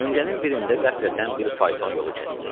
Döngənin birində qəflətən bir fayton yolu kəsdi.